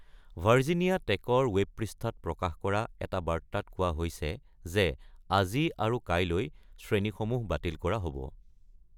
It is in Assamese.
ভাৰ্জিনিয়া টেকৰ ৱেব পৃষ্ঠাত প্ৰকাশ কৰা এটা বাৰ্তাত কোৱা হৈছে যে আজি আৰু কাইলৈ ​​শ্ৰেণীসমূহ বাতিল কৰা হ’ব।